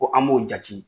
Ko an b'o jate